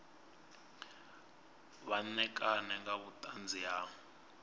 vha ṋekane nga vhuṱanzi ha